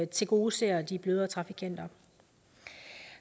tilgodeser de bløde trafikanter